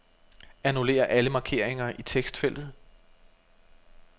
Annullér alle markeringer i tekstfeltet.